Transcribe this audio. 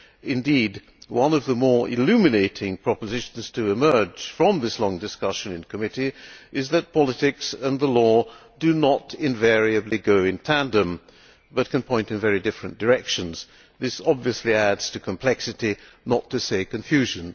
Indeed, one of the more illuminating propositions to emerge from this long discussion in committee is that politics and the law do not invariably go in tandem but can point in very different directions. This obviously adds to complexity, not to say confusion.